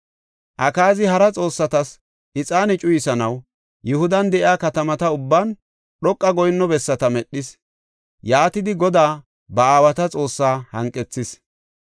Akaazi hara xoossatas ixaane cuyisanaw Yihudan de7iya katamata ubban dhoqa goyinno bessata medhis. Yaatidi Godaa, ba aawata Xoossa hanqethis.